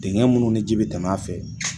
Dingɛ minnu ni ji bɛ tɛmɛ a fɛ